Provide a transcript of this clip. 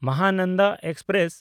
Mahananda express